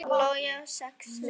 Logi á sex dætur.